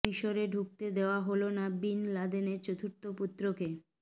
মিসরে ঢুকতে দেয়া হলো না বিন লাদেনের চতুর্থ পুত্রকে